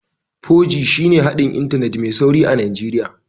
4G shine haɗin Intanet mai sauri a Najeriya